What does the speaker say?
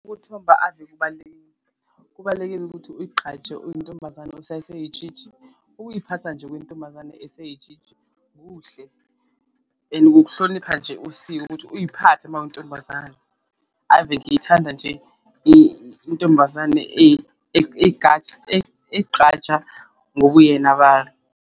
Ukuthomba ave kubalulekile kubalulekile ukuthi uyigqaje uyintombazane usaseyitshitshi, ukuyiphatha nje kwentombazane eseyitshitshi kuhle and kukuhlonipha nje usiko ukuthi uyiphathe uma uyintombazane. Ave ngiyithanda nje intombazane egqaja ngobuyena .